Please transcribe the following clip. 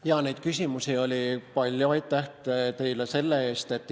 Jaa, neid küsimusi oli palju, aitäh teile selle eest!